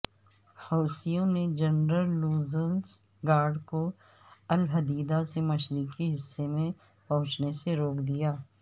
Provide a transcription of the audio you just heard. حوثیوں نے جنرل لولزگارڈ کو الحدیدہ کے مشرقی حصے میں پہنچنے سے روک دیا